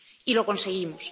Y lo conseguimos.